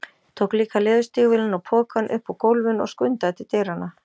Tók líka leðurstígvélin og pokann upp úr gólfinu og skundaði til dyranna.